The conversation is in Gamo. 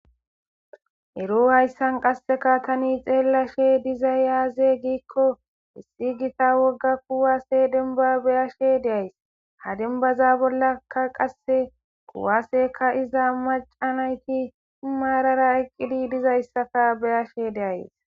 ero hayssan qasseka tani xeellashe dizay yaaze giikko issi gita wogga kuwase denba beyashe de'ays ha denbaza bollakka qasse kuwase ka'iza maca nayti maarara eqqididizayssaka beyashe de'ays